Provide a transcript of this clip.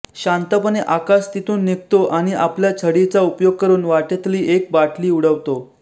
शांतपणे आकाश तिथून निघतो आणि आपल्या छडीचा उपयोग करून वाटेतली एक बाटली उडवतो